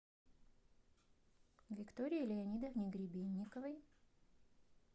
виктории леонидовне гребенниковой